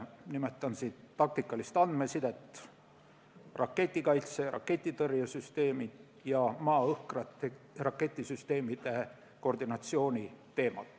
Nimetan siinkohal taktikalist andmesidet, raketikaitset, raketitõrjesüsteeme ja maa-õhk-tüüpi raketisüsteemide koordinatsiooni.